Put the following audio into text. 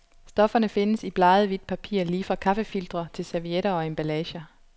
Stofferne findes i bleget hvidt papir lige fra kaffefiltre til servietter og emballager.